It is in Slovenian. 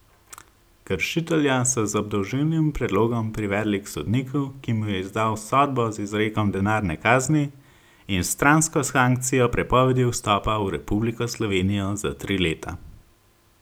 Kršitelja so z obdolžilnim predlogom privedli k sodniku, ki mu je izdal sodbo z izrekom denarne kazni in s stransko sankcijo prepovedi vstopa v Republiko Slovenijo za tri leta.